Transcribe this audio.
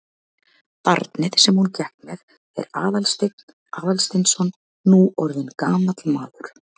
Barnið sem hún gekk með er Aðalsteinn Aðalsteinsson, nú orðinn gamall maður.